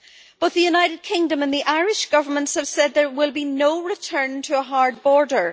Both the United Kingdom and Irish Governments have said there will be no return to a hard border.